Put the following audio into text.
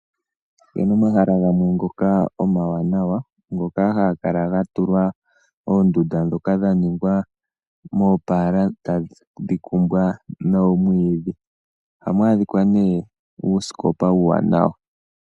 Opu na omahala gamwe ngoka omawanawa, ngoka haga kala ga tulwa oondunda ndhoka dha ningwa moopaala e tadhi kumbwa noomwiidhi. Ohamu adhika uusikopa uuwanawa.